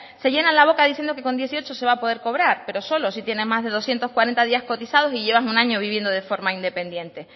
se llenan la boca diciendo que con dieciocho se va a poder cobrar pero solo si tiene más de doscientos cuarenta días cotizados y llevas un año viviendo de forma independiente